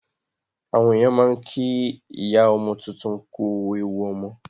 Àwọn èèyàn máa ń kí ìyá ọmọ tuntun kú ewu ọmọ